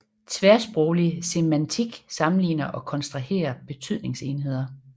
Tværsproglig semantik sammenligner og kontrasterer betydningsenheder